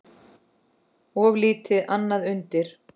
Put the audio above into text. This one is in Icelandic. Of lítið annað undir.